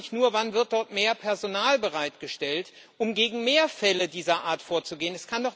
Ich frage mich nur Wann wird dort mehr Personal bereitgestellt, um gegen mehr Fälle dieser Art vorzugehen?